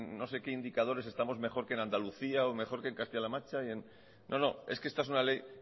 en no sé qué indicadores estamos mejor que en andalucía o mejor que en castilla la mancha no no es que esta es una ley